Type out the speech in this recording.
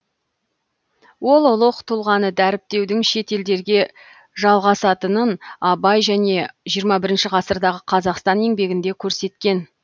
ол ұлық тұлғаны дәріптеудің шетелдерде жалғасатынын абай және жиырма бірінші ғасырдағы қазақстан еңбегінде көрсеткен